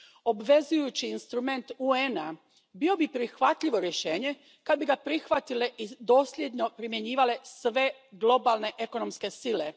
Obvezujući instrument UN a bio bi prihvatljivo rješenje kad bi ga prihvatile i dosljedno primjenjivale sve globalne ekonomske sile.